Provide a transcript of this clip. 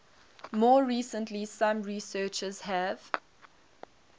more recently some researchers have